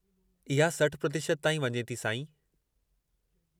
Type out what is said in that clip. इहा 60% ताईं वञे थी, साईं।